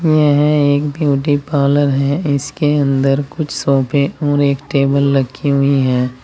यह एक beauty parlour है इसके अंदर कुछ सोफे और एक टेबल रखी हुई है।